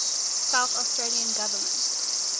south australian government